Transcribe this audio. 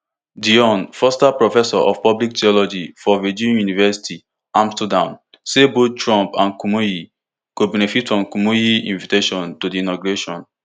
dion forster professor of public theology for di vrije universiteit amsterdam say both trump and kumuyi go benefit from kumuyi invitation to di inauguration